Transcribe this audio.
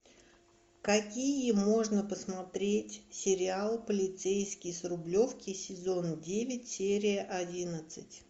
какие можно посмотреть сериал полицейский с рублевки сезон девять серия одиннадцать